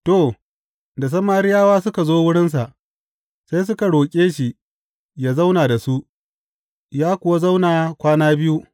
To, da Samariyawa suka zo wurinsa, sai suka roƙe shi yă zauna da su, ya kuwa zauna kwana biyu.